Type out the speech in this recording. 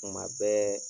Kuma bɛɛ